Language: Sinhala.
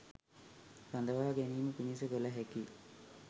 රඳවා ගැනීම පිණිස කළ හැකි